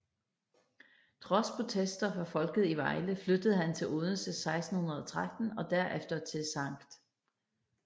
Trods protester fra folket i Vejle flyttede han til Odense 1613 og derefter til Skt